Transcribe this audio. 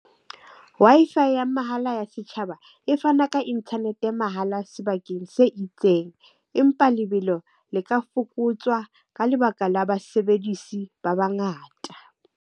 Wi-Fi ya mahala ya setjhaba e fana ka internet ya mahala sebakeng se itseng. Empa lebelo le ka fokotswa ka lebaka la basebedisi ba bangata.